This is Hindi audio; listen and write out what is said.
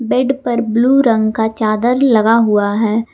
बेड पर ब्लू रंग का चादर लगा हुआ है।